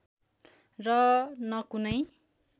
र न कुनै